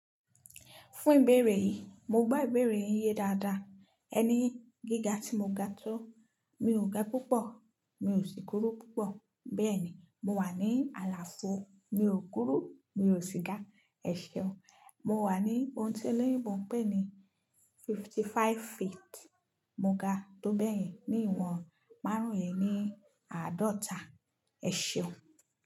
Fún ìbéèrè yìí, mo gbá ìbéèrè yìí yé dáadáa. Ẹni gíga tí mo ga tó, mi ò ga púpọ̀, mi ò sì kúrú púpọ̀. Bẹ́ẹ̀ni mo wà ní àlàfo, mi ò kúrú, mi ò sì ga. Ẹ ṣeun. Mo wà ní ohun tí eléyìí mọ̀ ń pè ní fifty five feet. Mo ga tó bẹ́ẹ̀ yín ní ìwọ̀n márùn-ún lẹni àádọ́ta. Ẹ ṣeun.